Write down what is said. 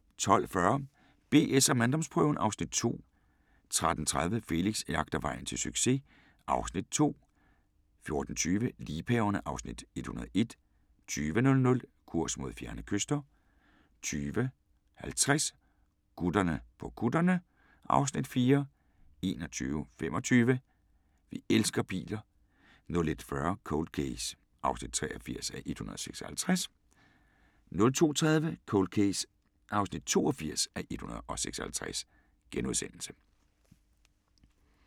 12:40: BS & manddomsprøven (Afs. 2) 13:30: Felix jagter vejen til succes (Afs. 2) 14:20: Liebhaverne (Afs. 101) 20:00: Kurs mod fjerne kyster 20:50: Gutterne på kutterne (Afs. 4) 21:25: Vi elsker biler 01:40: Cold Case (83:156) 02:30: Cold Case (82:156)*